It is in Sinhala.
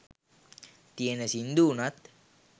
තියෙන සිංදු වුනත්